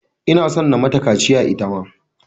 Ina son na mata kaciya ita ma.